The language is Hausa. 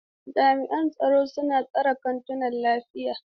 Jami'an tsaro suna tsare kantunan lafiya.